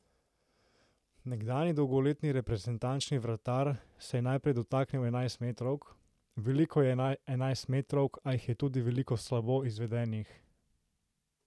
Nekdanji dolgoletni reprezentančni vratar se je najprej dotaknil enajstmetrovk: "Veliko je enajstmetrovk, a jih je tudi veliko slabo izvedenih.